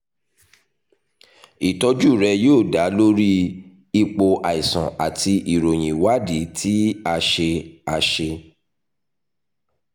ìtọ́jú rẹ yóò da lórí ipò àìsàn àti ìròyìn ìwádìí tí a ṣe a ṣe